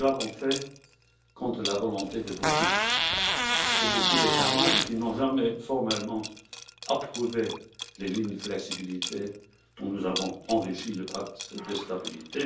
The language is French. Nous l'avons fait contre la volonté de beaucoup d'États membres, qui n'ont jamais formellement approuvé les lignes de flexibilité dont nous avons enrichi le pacte de stabilité.